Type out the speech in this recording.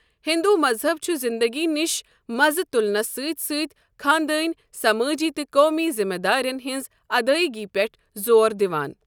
ہندو مذہب چھُ زندگی نِش مَزٕ تُلنَس سۭتۍ سۭتۍ خاندٲنی، سمٲجی تہٕ قومی ذمہٕ دارین ہنٛز ادٲئیگی پٮ۪ٹھ زور دِوان۔